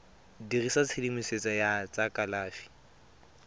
dirisa tshedimosetso ya tsa kalafi